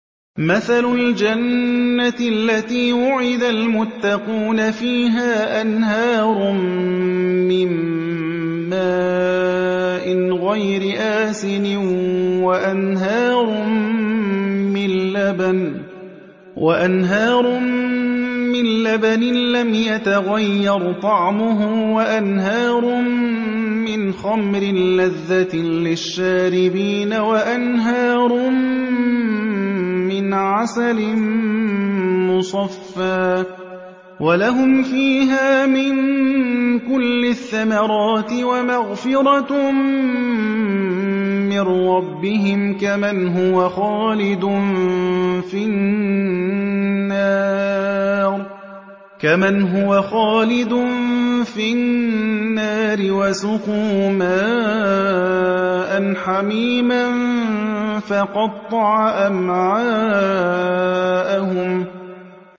مَّثَلُ الْجَنَّةِ الَّتِي وُعِدَ الْمُتَّقُونَ ۖ فِيهَا أَنْهَارٌ مِّن مَّاءٍ غَيْرِ آسِنٍ وَأَنْهَارٌ مِّن لَّبَنٍ لَّمْ يَتَغَيَّرْ طَعْمُهُ وَأَنْهَارٌ مِّنْ خَمْرٍ لَّذَّةٍ لِّلشَّارِبِينَ وَأَنْهَارٌ مِّنْ عَسَلٍ مُّصَفًّى ۖ وَلَهُمْ فِيهَا مِن كُلِّ الثَّمَرَاتِ وَمَغْفِرَةٌ مِّن رَّبِّهِمْ ۖ كَمَنْ هُوَ خَالِدٌ فِي النَّارِ وَسُقُوا مَاءً حَمِيمًا فَقَطَّعَ أَمْعَاءَهُمْ